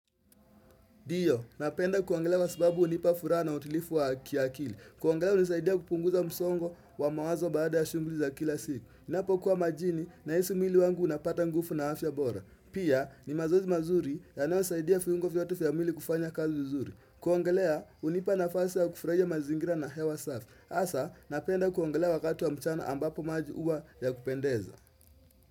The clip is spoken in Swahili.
Ndiyo, napenda kuongelea kwa sababu hunipa furaha na utulifu wa kiakili. Kuongalea hunisaidia kupunguza msongo wa mawazo baada ya shughuli za kila siku. Napokuwa majini naisi mwili wangu unapata ngufu na afya bora. Pia, ni mazoezi mazuri yanayosaidia fyungo fyote fya mwili kufanya kazi vizuri. Kuongelea unipa nafasi ya kufurahia mazingira na hewa safi. Asa, napenda kuongelea wakati wa mchana ambapo maji huwa ya kupendeza.